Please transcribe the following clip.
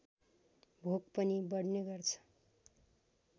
भोक पनि बढ्ने गर्छ